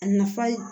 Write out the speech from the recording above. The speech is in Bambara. A nafa